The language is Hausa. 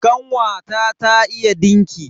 Kanwata ta iya dinki.